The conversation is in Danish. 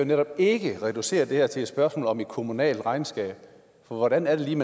netop ikke kan reducere det her til et spørgsmål om et kommunalt regnskab for hvordan er det lige